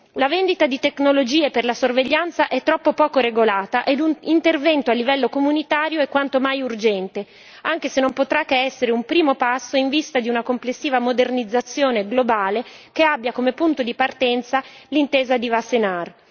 La vendita di tecnologie per la sorveglianza è troppo poco regolata ed un intervento a livello comunitario è quanto mai urgente, anche se non potrà che essere un primo passo in vista di una complessiva modernizzazione globale che abbia come punto di partenza l'intesa di Wassenaar.